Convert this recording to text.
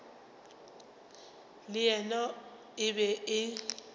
le yena e be e